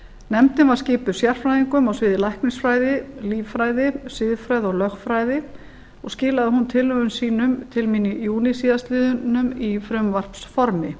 nefndin var skipuð sérfræðingum á sviði læknisfræði líffræði siðfræði og lögfræði og skilaði hún niðurstöðum sínum til mín í júní síðastliðinn í frumvarpsformi